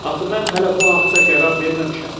Axı mən hələ bu haqda qərar verməmişəm.